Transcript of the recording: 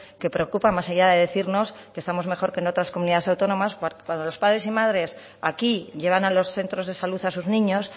que preocupa más allá de decirnos que estamos mejor que en otras comunidades autónomas cuando los padres y madres aquí llevan a los centros de salud a sus niños